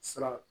Siran